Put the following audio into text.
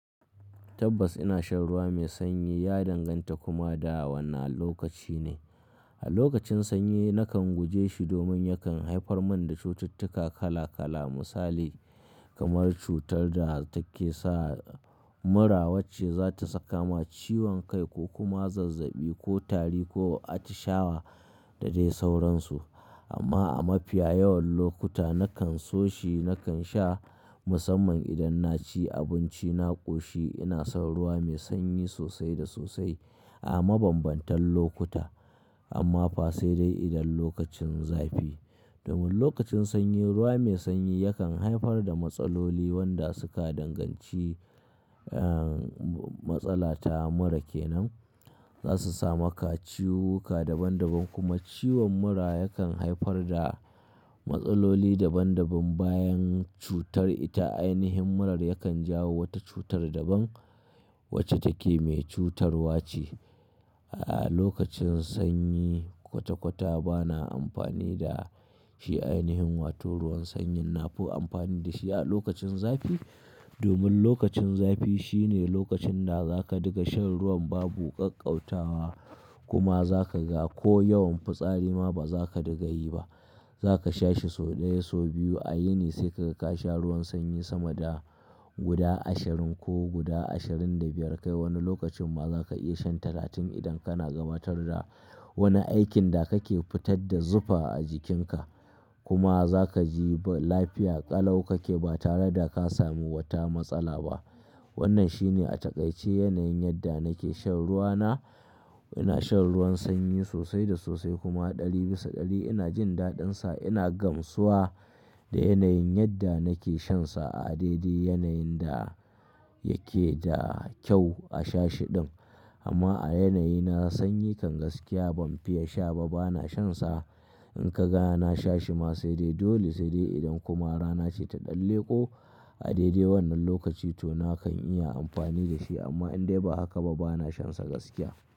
Tabbas ina shan ruwa mai sanyi ya danganta kuma da wanna lokaci ne. A lokacin sanyi nakan guje shi domin yakan haifar mani da cututtuka kala-kala misali kamar cutar da take sa mura wacce za ta saka ma ciwon kai ko kuma zazzaɓi ko tari ko atishawa da dai sauransu. Amma a mafiya yawan lokuta nakan so shi nakan sha musamman idan na ci abinci na ƙoshi ina son ruwa mai sanyi sosai da sosai a mabambantan lokuta amma fa sai dai idan lokacin zafi. Domin lokacin sanyi ruwa mai sanyi yakan haifar da matsaloli wanda suka danganci, eh, matsala ta mura kenan. Za su sama ka ciwuka daban daban kuma ciwon mura yakan haifar da matsaloli daban daban bayan cutar ita ainihin murar yakan jawo wata cutar daban wacce take mai cutarwa ce. A lokacin sanyi kwata kwata bana amfani da shi ainihin wato ruwan sanyin nafi amfani da shi a lokacin zafi. Domin lokacin zafi shine lokacin da za ka diga shan ruwan babu ƙaƙƙautawa kuma za ka ga ko yawan fitsari ma ba za ka diga yi ba. Za ka sha shi so ɗaya so biyu a yini sai ka ga ka kasha ruwan sanyi sama da guda ashirin ko guda ashirin da biyar kai wani lokacin ma za ka iya shan talatin idan kana gabatar da wani aikin da kake fitar da zufa a jikinka kuma za ka ji lafiya ƙalau kake ba tare da ka samu wata matsala ba. Wannan shine a takaice yanayin yadda nake shan ruwa na. Ina shan ruwan sanyi sosai da sosai kuma ɗari bisa ɗari ina jin daɗinsa ina gamsuwa da yanayin yadda nake shansa a daidai yanayin da yake da kyau a sha shi ɗin. Amma a yanayi na sanyi kan gaskiya ban fiya sha ba bana shansa. In ka ga na sha shi ma sai dai dole sai dai idan kuma rana ce ta ɗan leƙo a daidai wannan lokaci to nakan iya amfani da shi amma in dai ba haka ba bana shansa gaskiya.